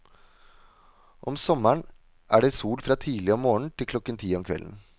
Om sommeren er det sol fra tidlig om morgenen til klokken ti om kvelden.